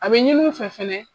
A be ɲini u fɛ fɛnɛ